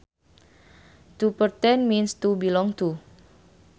To pertain means to belong to